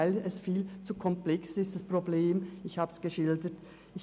Dafür ist das Problem viel zu komplex, so wie ich es geschildert habe.